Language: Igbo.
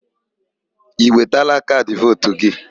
Ị wetala kaadị vootu gị?